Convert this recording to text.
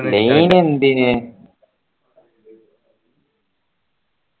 നീ ഇനി എന്തിനു